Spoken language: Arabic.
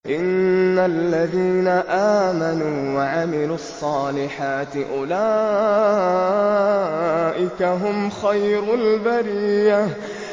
إِنَّ الَّذِينَ آمَنُوا وَعَمِلُوا الصَّالِحَاتِ أُولَٰئِكَ هُمْ خَيْرُ الْبَرِيَّةِ